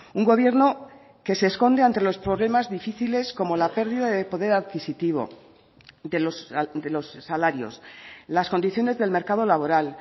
un gobierno que se esconde ante los problemas difíciles como la pérdida de poder adquisitivo de los salarios las condiciones del mercado laboral